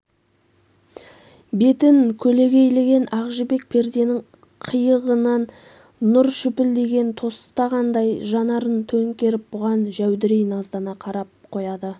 бетін көлегейлеген ақ жібек перденің қиығынан нұр шүпілдеген тостағандай жанарын төңкеріп бұған жәудірей наздана қарап қояды